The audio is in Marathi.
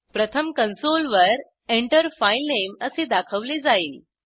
प्रथम कंसोलवर Enter फाइलनेम असे दाखवले जाईल